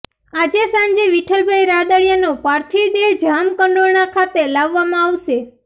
આજે સાંજે વિઠ્ઠલભાઈ રાદડિયાનો પાર્થિવદેહ જામકંડોરણા ખાતે લાવવામાં આવશે